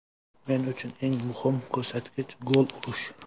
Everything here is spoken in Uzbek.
Men uchun eng muhim ko‘rsatkich gol urish.